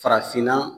Farafinna